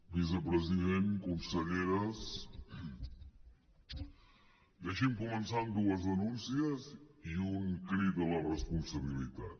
vicepresident conselleres deixin me començar amb dues denúncies i un crit a la responsabilitat